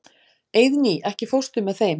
Eiðný, ekki fórstu með þeim?